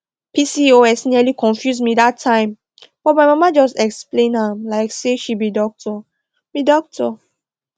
pcos nearly confuse me that time but my mama just explain am like say she be doctor be doctor